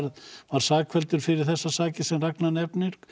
sakfelldur fyrir þessar sakir sem Ragnar nefnir